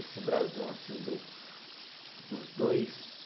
Esse brasão assim do, dos dois